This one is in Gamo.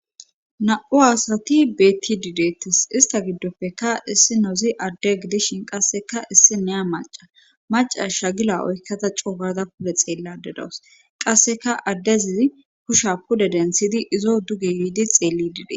na7u aasati betti didettes ista giddopfeka issi nozi adde gidishin qasseka issi neya maca maca shagila oykkata co gada pude xeelladedoos qasseka addezizi kusha pudedensidi izo duge yiidi xeellid